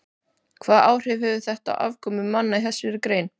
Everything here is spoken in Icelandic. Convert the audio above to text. Hvaða áhrif hefur þetta á afkomu manna í þessari grein?